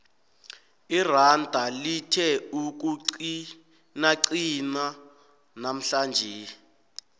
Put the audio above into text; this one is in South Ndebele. iranda lithe ukuqinaqina namhlanje